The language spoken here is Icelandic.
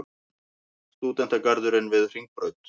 Stúdentagarðurinn við Hringbraut.